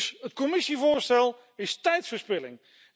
Dus het Commissievoorstel is tijdverspilling.